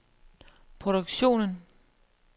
produktionen